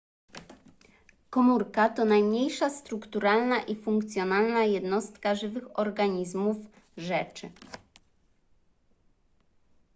komórka to najmniejsza strukturalna i funkcjonalna jednostka żywych organizmów rzeczy